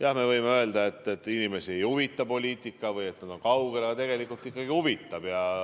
Jah, me võime öelda, et inimesi ei huvita poliitika või et nad on sellest kaugel, aga tegelikult ikkagi huvitab.